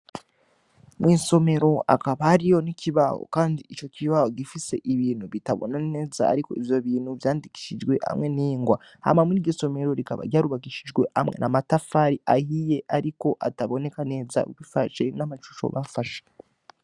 Mwisomero hakaba hariho n'ikibaho kandi ico kibaho gifise ibintu bitabona neza ariko ivyo bintu vyandikishijwe hamwe n'ingwa, hama muriryo somera rikaba ryarubakishijwe amwe amatafari ahiye ariko ataboneka neza bivanye n'amashusho nafashe.